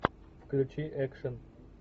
включи экшн